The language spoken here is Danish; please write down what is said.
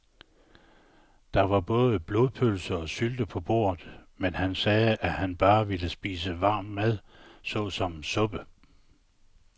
Der var både blodpølse og sylte på bordet, men han sagde, at han bare ville spise varm mad såsom suppe.